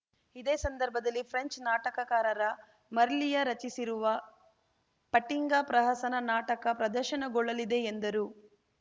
ಇದೇ ಸಂದರ್ಭದಲ್ಲಿ ಫ್ರೆಂಚ್‌ ನಾಟಕಕಾರರ ಮರ್ಲಿಯ ರಚಿಸಿರುವ ಫಟಿಂಗ ಪ್ರಹಸನ ನಾಟಕ ಪ್ರದರ್ಶನಗೊಳ್ಳಲಿದೆ ಎಂದರು